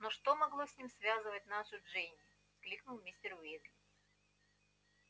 но что могло с ним связывать нашу джинни кликнул мистер уизли